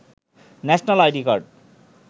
national ID card